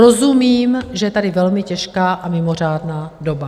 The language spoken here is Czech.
Rozumím, že je tady velmi těžká a mimořádná doba.